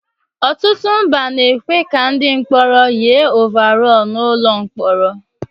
Ọtụtụ mba na-ekwe ka ndị mkpọrọ nyiri óváróóru n'ụlọ mkpọrọ